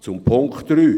Zum Punkt 3: